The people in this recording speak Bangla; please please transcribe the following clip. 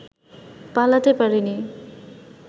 পালাতে পারেনি